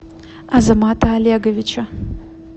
азамата олеговича